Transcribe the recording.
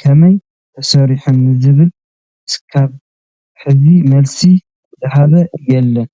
ከመይ ተሰርሐ ንዝብል እስካብ ሕዚ መልሲ ዝሃበ የለን፡፡